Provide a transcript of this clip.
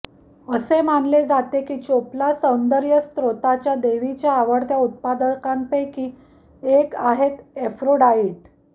असे मानले जाते की चोपला सौंदर्यस्रोताच्या देवीच्या आवडत्या उत्पादांपैकी एक आहेत एफ्रोडाइट